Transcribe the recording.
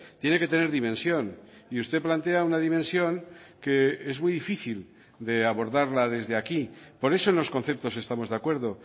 tiene que tener dimensión y usted plantea una dimensión que es muy difícil de abordarla desde aquí por eso en los conceptos estamos de acuerdo